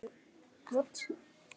Þær voru: